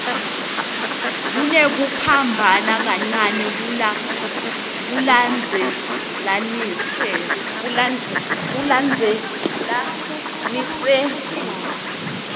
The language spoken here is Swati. kunekuphambana kancane ekulandzelaniseni